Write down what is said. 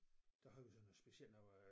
Der havde vi sådan noget specielt noget